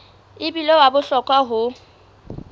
e bile wa bohlokwa ho